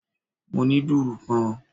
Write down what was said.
Mo ní dùrù kan